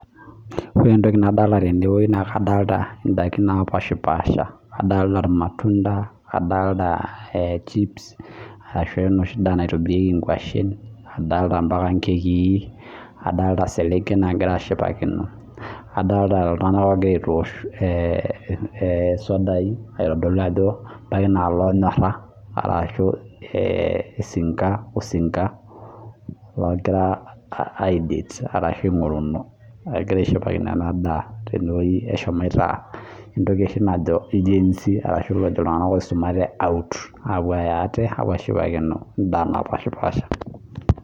Ore entoki nadolita tenewueji nadolita ntokitin napasha adolita irmatunda adolita chips ashu enoshi ndaa naitobieki nkwashen adolitaa enkekii adolita eselenken nagira ashipakino adolita iltung'ana oo gira aitosh sidai aitodolu Ajo ebaiki naa elonyora ashu osinka oo gira aidate ashu loogira aingoruno ashu egira ashipakino ena ndaa tene entoki najo iltung'ana oisumate out apuo Aya ate apuo ashipakino endaa napashipasha